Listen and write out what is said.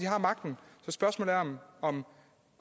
har magten så spørgsmålet er om